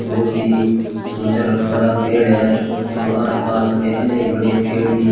बहुत ही सुंदर बड़ा पेड़ है एवं आसपास में अनेक बड़े पेड़ भी--